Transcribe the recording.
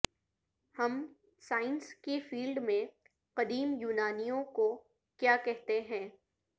ہم سائنس کے فیلڈ میں قدیم یونانیوں کو کیا کہتے ہیں